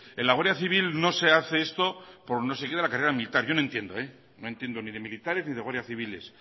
en la guardia civil no se hace esto por no sé qué de la carrera militar yo no entiendo no entiendo ni de militares ni de guardia civiles